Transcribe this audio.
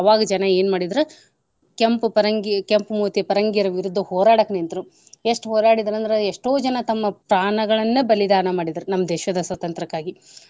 ಅವಾಗ ಜನ ಏನ್ ಮಾಡಿದ್ರ ಕೆಂಪು ಪರಂಗಿ ಕೆಂಪು ಮೂತಿಯ ಪರಂಗಿಯರ ವಿದುದ್ದ ಹೋರಾಡಕ ನಿಂತ್ರು ಎಷ್ಟು ಹೋರಾಡಿದ್ರ ಅಂದ್ರ ಎಷ್ಟೋ ಜನ ತಮ್ಮ ಪ್ರಾಣಗಳನ್ನ ಬಲಿದಾನ ಮಾಡಿದ್ರ ನಮ್ಮ ದೇಶದ ಸ್ವಾತಂತ್ರ್ಯಕ್ಕಾಗಿ.